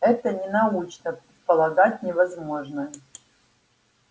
это ненаучно предполагать невозможное